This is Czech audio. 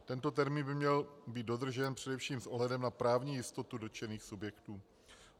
Tento termín by měl být dodržen především s ohledem na právní jistotu dotčených subjektů.